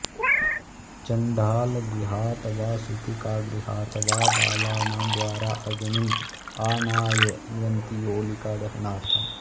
चण्डालगृहात् वा सूतिकागृहात् वा बालानां द्वारा अग्निम् आनाययन्ति होलिकादहनार्थम्